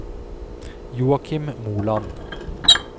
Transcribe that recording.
Joachim Moland